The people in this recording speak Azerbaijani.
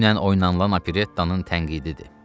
Dünən oynanılan operettanın tənqididir.